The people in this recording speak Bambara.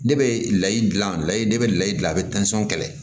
Ne bɛ layi dilan layi ne bɛ layi dilan a bɛ kɛlɛ